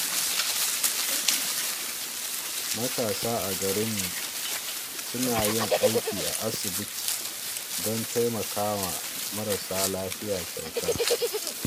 Matasa a garinmu suna yin aiki a asibiti don taimakawa marasa lafiya kyauta.